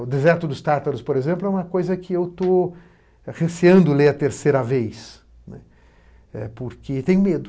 O deserto dos tártaros, por exemplo, é uma coisa que eu estou receando ler a terceira vez, né, porque tenho medo.